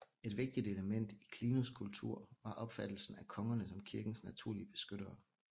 Et vigtigt element i Clunys kultur var opfattelsen af kongerne som kirkens naturlige beskyttere